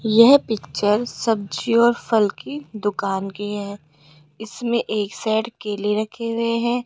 यह पिक्चर सब्जी और फल की दुकान की है इसमें एक साइड केले रखे हुए हैं।